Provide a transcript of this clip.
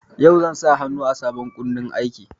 Yau zan sa hannu a sabon kundin aikin.